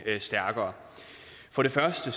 stærkere for det første